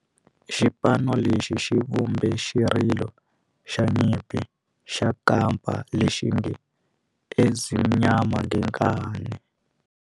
Xipano lexi xi vumbe xirilo xa nyimpi xa kampa lexi nge 'Ezimnyama Ngenkani'.